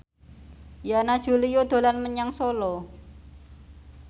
Yana Julio dolan menyang Solo